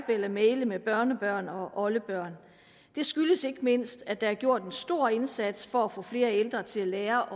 eller maile med børnebørn og oldebørn det skyldes ikke mindst at der er gjort en stor indsats for at få flere ældre til at lære